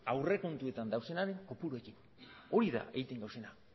aurrekontuetan daudenean kopuruekin hori da egiten gauzena